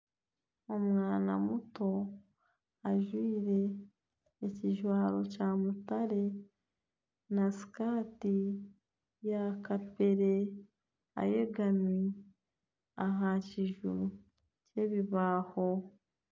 Omwana muto ajwaire ekijwaro kya mutare na sikati ya kapere ayegami aha kiju kyebibaaho